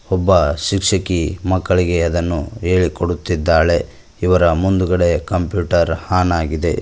ಒಬ್ಬ ಶಿಕ್ಷಕಿ ಮಕ್ಕಳಿಗೆ ಅದನ್ನು ಹೇಳಿ ಕೊಡುತ್ತಿದ್ದಾಳೆ ಇವರ ಮುಂದುಗಡೆ ಕಂಪ್ಯೂಟರ್ ಆನ್ ಆಗಿದೆ.